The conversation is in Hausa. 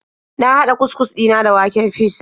Na hada cus-cus dina da waken fis.